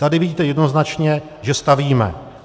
Tady vidíte jednoznačně, že stavíme.